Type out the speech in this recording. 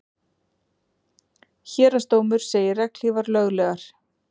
Héraðsdómur segir regnhlífar löglegar